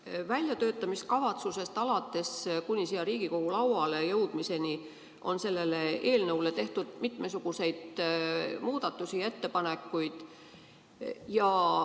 Alates väljatöötamiskavatsusest kuni siia Riigikogu lauale jõudmiseni on selle eelnõu kohta tehtud mitmesuguseid muudatusi ja ettepanekuid.